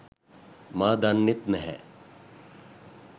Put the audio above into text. මා දන්නෙත් නැහැ.